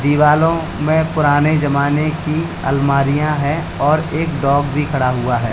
दीवालो मैं पुराने जमाने की अलमारियां हैं और एक डॉग भी खड़ा हुआ है।